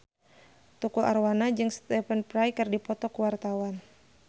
Tukul Arwana jeung Stephen Fry keur dipoto ku wartawan